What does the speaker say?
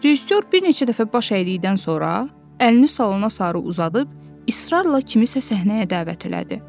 Rejissor bir neçə dəfə baş əydikdən sonra əlini salona sarı uzadıb israrla kimisə səhnəyə dəvət elədi.